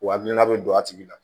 Wa hakilina bɛ don a tigi la